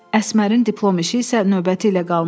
Əsmərin diplom işi isə növbəti ilə qalmışdı.